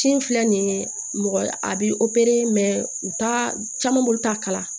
Ci filɛ nin ye mɔgɔ a bɛ u t'a caman bolo t'a kala